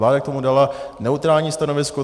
Vláda k tomu dala neutrální stanovisko.